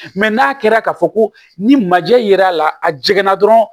n'a kɛra ka fɔ ko ni majɛ ye ra a jiginna dɔrɔn